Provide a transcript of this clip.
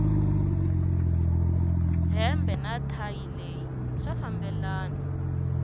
hembe na thayi leyi swa fambelana